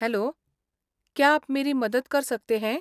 Hello, क्या आप मेरी मदद कर सकते हैं?